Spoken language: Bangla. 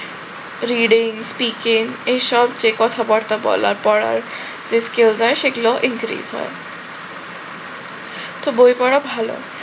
reading speaking এসব যে কথাবার্তা বলা পড়ার যে skills দেয় সেটিও increase হয়। তো বই পড়া ভাল